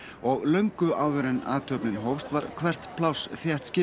og löngu áður en athöfnin hófst var hvert pláss